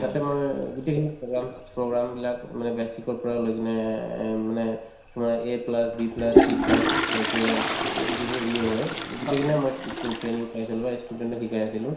তাতে মই গোটেইখিনি programs program বিলাক এ মানে basis ৰ পৰা লৈ কিনে এ এ এম মানে তোমাৰ A plus B plusC plus লৈকে উম যিটো হয় গোটেইকেইটা মই try training পাইছিলো বা ই student ক শিকাই আছিলো